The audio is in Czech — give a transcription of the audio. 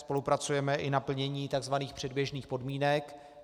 Spolupracujeme i na plnění tzv. předběžných podmínek.